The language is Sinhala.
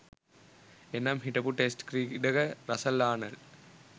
එනම් හිටපු ටෙස්ට් ක්‍රීඩක රසල් ආනල්ඞ්